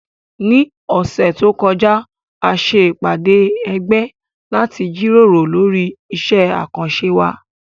Ní ọ̀sẹ̀ tó kọjá, a ṣe ìpàdé ẹgbẹ́ láti jíròrò lórí iṣẹ́ àkànṣe wa